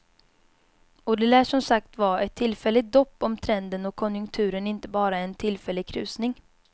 Och det lär som sagt var ett tillfälligt dopp om trenden och konjunkturen inte bara är en tillfällig krusning.